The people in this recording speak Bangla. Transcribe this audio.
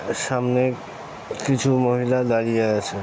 সামনে কিছু মহিলা দাঁড়িয়ে আছে ।